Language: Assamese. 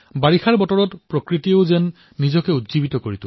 বাৰিষাৰ সময়ছোৱাত প্ৰকৃতিয়েই যেন নতুন ৰূপ লাভ কৰে